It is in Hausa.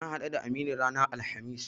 Na haɗu da Aminu ranar Alhamis.